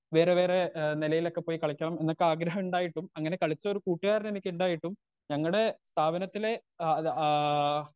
Speaker 2 വേറെ വേറെ ഏ നെലയിലൊക്കെ പോയി കളിക്കണം എന്നൊക്കെ ആഗ്രഹണ്ടായിട്ടും അങ്ങനെ കളിച്ചൊരു കൂട്ടുകാരനെനിക്കുണ്ടായിട്ടും ഞങ്ങടെ സ്ഥാപനത്തിലെ ആ അത് ആ.